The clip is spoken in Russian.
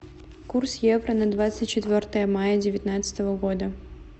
курс евро на двадцать четвертое мая девятнадцатого года